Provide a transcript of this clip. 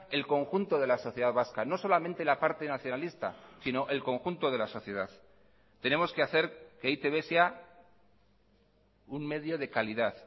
el conjunto de la sociedad vasca no solamente la parte nacionalista sino el conjunto de la sociedad tenemos que hacer que e i te be sea un medio de calidad